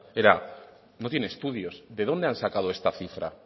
era no tiene estudios de dónde han sacado esta cifra